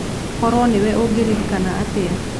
Korũo nĩwe ũngĩririkana atĩa?